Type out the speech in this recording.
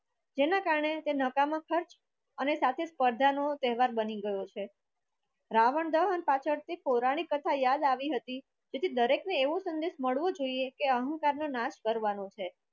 જેના કારણે તે નકામાં ખર્ચ અને સાથે સ્પર્ધા નો તહેવાર બની ગયો છે રાવણ દહન પાછળ પૌરાણિક કથા યાદ આવી હતી જે દરેકને એવું સંદેશ મડવો કે અહંકારનો નાશ કરવાનો છે.